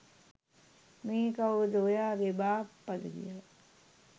මේ කවුද ඔයාගෙ බාප්පද කියල.